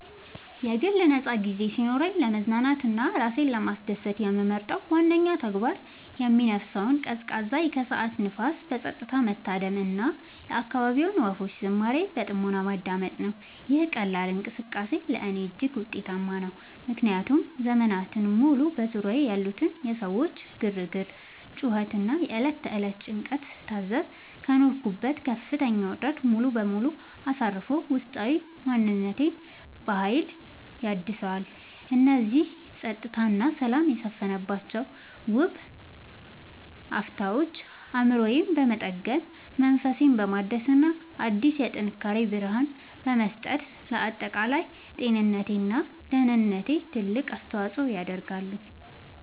የግል ነፃ ጊዜ ሲኖረኝ ለመዝናናት እና ራሴን ለማስደሰት የምመርጠው ዋነኛው ተግባር የሚነፍሰውን ቀዝቃዛ የከሰዓት ንፋስ በፀጥታ መታደም እና የአካባቢውን ወፎች ዝማሬ በጥሞና ማዳመጥ ነው። ይህ ቀላል እንቅስቃሴ ለእኔ እጅግ ውጤታማ ነው፤ ምክንያቱም ዘመናትን ሙሉ በዙሪያዬ ያሉትን የሰዎች ግርግር፣ ጩኸት እና የዕለት ተዕለት ጭንቀት ስታዘብ ከኖርኩበት ከፍተኛ ውጥረት ሙሉ በሙሉ አሳርፎ ውስጣዊ ማንነቴን በሀይል ያድሰዋል። እነዚህ ፀጥታ እና ሰላም የሰፈነባቸው ውብ አፍታዎች አእምሮዬን በመጠገን፣ መንፈሴን በማደስ እና አዲስ የጥንካሬ ብርሃን በመስጠት ለአጠቃላይ ጤንነቴ እና ደህንነቴ ትልቅ አስተዋፅዖ ያደርጋሉ።